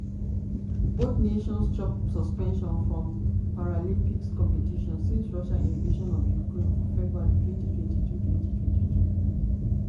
both nations chop suspension from paralympic competition since russia invasion of ukraine for february twenty twenty two. twenty twenty two.